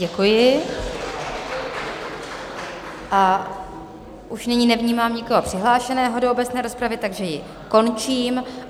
Děkuji a už nyní nevnímám nikoho přihlášeného do obecné rozpravy, takže ji končím.